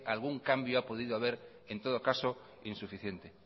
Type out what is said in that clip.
algún cambio ha podido haber en todo caso insuficiente